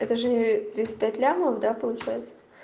это же тридцать пять лямов да получается